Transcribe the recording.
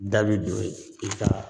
Da bi e don i ka